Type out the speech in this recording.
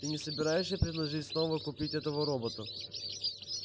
ты не собираешься предложить снова купить этого робота